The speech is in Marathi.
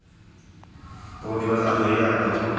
तो दिवस आजही आठवतो.